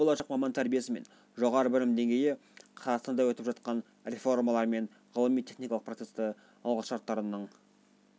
өйткені болашақ маман тәрбиесі мен жоғары білім деңгейі қазақстанда өтіп жатқан реформалар мен ғылыми техникалық процестің алғы шарттарының